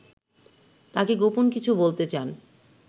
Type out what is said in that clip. তাঁকে গোপন কিছু বলতে চান